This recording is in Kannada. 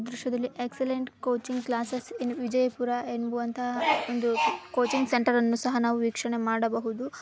ಈ ದೃಶ್ಯದಲ್ಲಿ excellent coaching classes in Vijayapura ಎನ್ನುವಂತ ಒಂದು ಕೋಚಿಂಗ್ ಸೆಂಟರ್ ಅನ್ನು ಸಹಾ ನಾವು ವೀಕ್ಷಣೆ ಮಾಡಬಹುದು.